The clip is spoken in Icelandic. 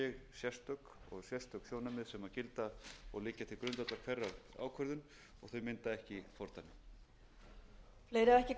sérstök og sérstök sjónarmið sem gilda og liggja til grundvallar hverri ákvörðun og þau mynda ekki